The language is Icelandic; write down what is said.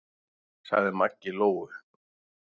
sagði Maggi Lóu.